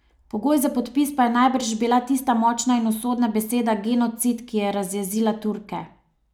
Pogoj za podpis pa je najbrž bila tista močna in usodna beseda genocid, ki je razjezila Turke.